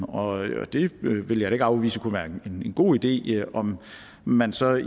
og det vil jeg da ikke afvise kunne være en god idé om man så i